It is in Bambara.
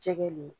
Jɛgɛ le